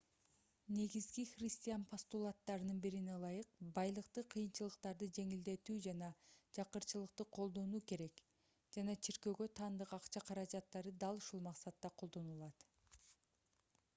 негизги христиан постулаттарынын бирине ылайык байлыкты кыйынчылыктарды жеңилдетүү жана жакырчылыкта колдонуу керек жана чиркөөгө таандык акча каражаттары дал ушул максатта колдонулат